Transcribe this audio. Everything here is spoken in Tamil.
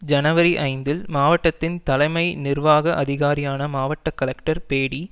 ஜனவரி ஐந்தில் மாவட்டத்தின் தலைமை நிர்வாக அதிகாரியான மாவட்ட கலெக்டர் பேடி